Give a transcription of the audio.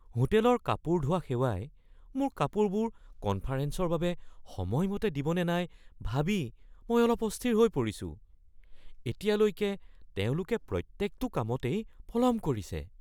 হোটেলৰ কাপোৰ ধোৱা সেৱাই মোৰ কাপোৰবোৰ কনফাৰেঞ্চৰ বাবে সময়মতে দিব নে নাই ভাবি মই অলপ অস্থিৰ হৈ পৰিছোঁ। এতিয়ালৈকে তেওঁলোকে প্ৰত্যেকটো কামতেই পলম কৰিছে।